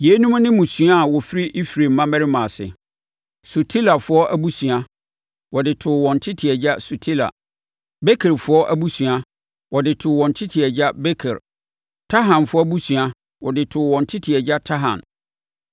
Yeinom ne mmusua a wɔfiri Efraim mmammarima ase: Sutelafoɔ abusua, wɔde too wɔn tete agya Sutela. Bekerfoɔ abusua, wɔde too wɔn tete agya Beker. Tahanfoɔ abusua, wɔde too wɔn tete agya Tahan.